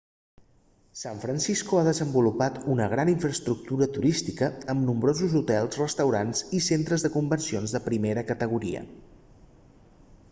san francisco ha desenvolupat una gran infraestructura turística amb nombrosos hotels restaurants i centres de convencions de primera categoria